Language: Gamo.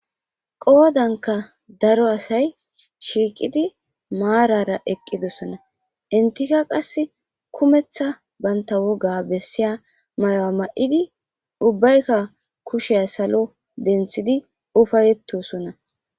Qoodanka daro asay shiiqidi maarara eqqidossana intika qas kumeththa banta woga bessiya may7oa ma7idi ubbaykka kushiyay salo denthidi ufayetosonna.